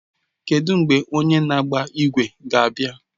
Kedụ mgbe onye na-agba ígwè ga-abịa?